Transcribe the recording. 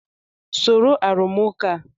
Soro arụmụka a!